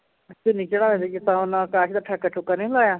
ਚੁੰਨੀ ਚੜਾਅ ਵੀ ਕੀਤਾ, ਉਹਨਾਂ ਕਾਜਲ ਦਾ ਠੱਕਾ ਠੁਕਾ ਨਹੀਂ ਮਿਲਾਇਆ